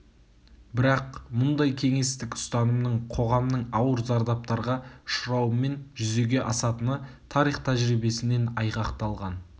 бірақ мұндай кеңестік ұстанымның қоғамның ауыр зардаптарға ұшырауымен жүзеге асатыны тарих тәжірибесінен айғақталған